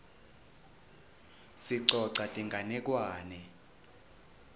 sicoca tinganekwane